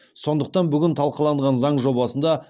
сондықтан бүгін талқыланған заң жобасында